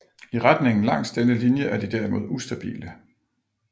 I retningen langs denne linje er de derimod ustabile